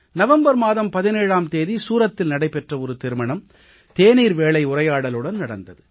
November மாதம் 17ஆம் தேதி சூரத்தில் நடைபெற்ற ஒரு திருமணம் தேநீர் வேளை உரையாடலுடன் நடந்தது